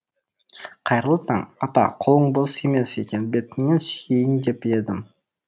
қайырлы таң апа қолың бос емес екен бетіңнен сүйейін деп едім